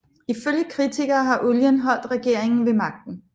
Ifølge kritikere har olien holdt regeringen ved magten